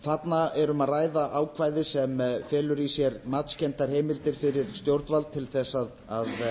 þarna er um að ræða ákvæði sem felur í sér matskenndar heimildir fyrir stjórnvald til þess að